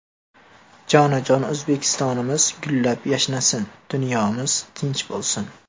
Jonajon O‘zbekistonimiz gullab-yashnasin, dunyomiz tinch bo‘lsin!